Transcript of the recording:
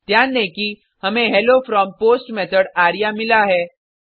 ध्यान दें कि हमें hello from post method array मिला है